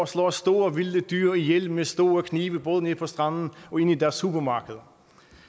slår store vilde dyr ihjel med store knive i både nede på stranden og inde i deres supermarkeder